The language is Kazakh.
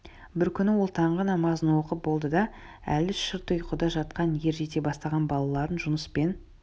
бір күні ол таңғы намазын оқып болды да әлі шырт ұйқыда жатқан ер жете бастаған балалары жұныс пен